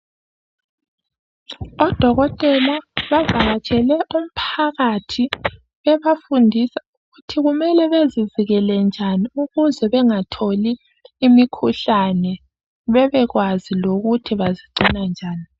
Odokotela bavakatshele umphakathi bebafundisa ukuthi kumele bazivikele njani ukuthi bengatholi imikhuhlane bebekwazi lokuthi bazigcina njani.